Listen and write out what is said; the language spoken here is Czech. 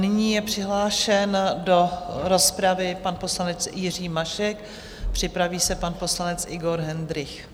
Nyní je přihlášen do rozpravy pan poslanec Jiří Mašek, připraví se pan poslanec Igor Hendrych.